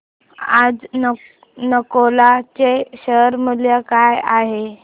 आज नालको चे शेअर मूल्य काय आहे